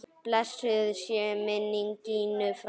Blessuð sé minning Gínu frænku.